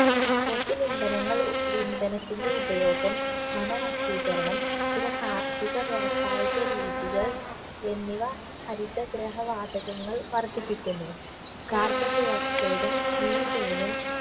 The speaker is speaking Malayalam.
fossil ഇന്ധനങ്ങൾ ഉ ഇന്ധനത്തിന്റെ ഉപയോഗം വനനശീകരണം ചില കാർഷിക വ്യാവസായിക രീതികൾ എന്നിവ ഹരിതഗൃഹ വാതകങ്ങൾ വർധിപ്പിക്കുന്നു carbon dioxide ഉം methane ഉം